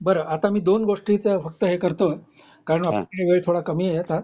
बरं आता मी दोन गोष्टीच फक्त हे करतो कारण आपल्याकडे वेळ थोडा कामी आहे आता